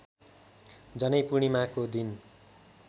जनैपूर्णिमाको दिन